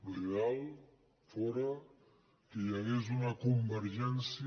l’ideal fóra que hi hagués una convergència